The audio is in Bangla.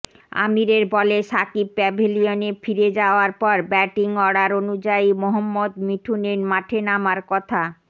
আমিরের বলে সাকিব প্যাভিলিয়নে ফিরে যাওয়ার পর ব্যাটিং অর্ডার অনুযায়ী মোহম্মদ মিঠুনের মাঠে নামার কথা